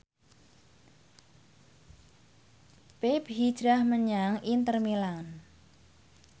pepe hijrah menyang Inter Milan